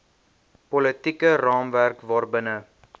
politieke raamwerk waarbinne